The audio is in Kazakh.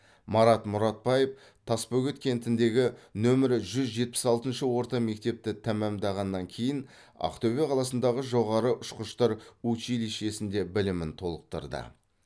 марат мұратбаев тасбөгет кентіндегі номер жүз жетпіс алтыншы орта мектепті тәмамдағаннан кейін ақтөбе қаласындағы жоғары ұшқыштар училищесінде білімін толықтырды